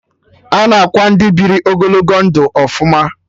Ana akwa Ndị biri ogologo ndụ ọfụma